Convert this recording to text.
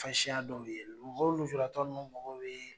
Fasiya dɔw ye mɔgɔ nujuratɔ ninnu mɔgɔw bɛ